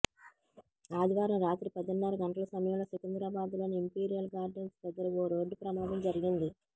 ఆదివారం రాత్రి పదిన్నర గంటల సమయంలో సికింద్రాబాద్ లోని ఇంపీరియల్ గార్డెన్స్ దగ్గర ఓ రోడ్డు ప్రమాదం జరిగింది